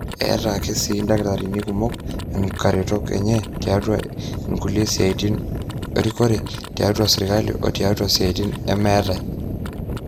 eetai ake sii indakitarini kumok onkaretok enye tiatua inkulie siaitin erikore tiatua sirkali o tiatua siaitin emaate